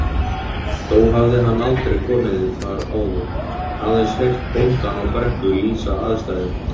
Þó hafði hann aldrei komið þar áður, aðeins heyrt bóndann á Brekku lýsa aðstæðum.